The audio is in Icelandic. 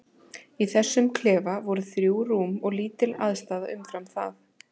Í þessum klefa voru þrjú rúm og lítil aðstaða umfram það.